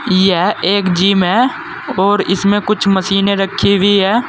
यह एक जिम है और इसमें कुछ मशीने रखी हुई है।